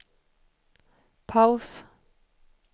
paus